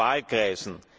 Wahlkreisen.